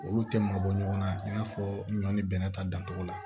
Olu tɛ mabɔ ɲɔgɔn na i n'a fɔɔ ɲɔn ni bɛnɛ ta dancogo la